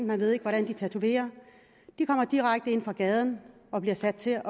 man ved ikke hvordan de tatoverer de kommer direkte ind fra gaden og bliver sat til